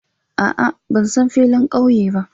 A'a, ban san filin ƙauye ba